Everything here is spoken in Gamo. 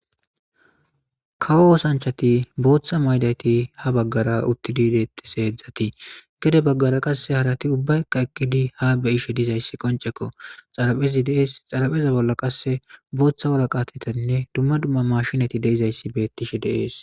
kawo oosanchati booththa maydati ha baggara uttidiideetti heedzdzati gede baggara qasse harati ubbaykka ekkidi ha be ishe dizayssi qoncekko xaraphezi deees xarapheza bolla qasse booththa woraqatetanne dumma dumma mashinati deizayssi beettishe deees